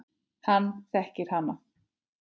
Hann þekkir hana.